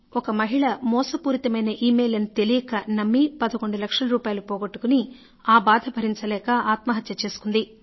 ఒక మహిళా మోసపూరితమైన ఇమెయిల్ అని తెలియక నమ్మి 11 లక్షల రూపాయలు పోగొట్టుకుని ఆ బాధ భరించలేక ఆత్మహత్య చేసుకుంది